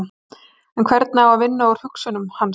En hvernig á að vinna úr hugsun hans?